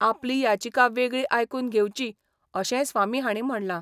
आपली याचिका वेगळी आयकुन घेवची, अशेंय स्वामी हाणी म्हणला.